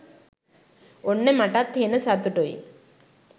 ඔන්න මටත් හෙන සතුටුයි